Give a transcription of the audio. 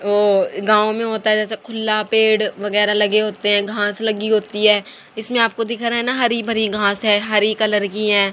ओ गांव में होता है जैसे खुला पेड़ वगैरह लगे होते हैं घास लगी होती है इसमें आपको दिख रहा है ना हरी भरी घास है हरी कलर की हैं।